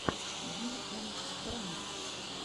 ди эм пранкс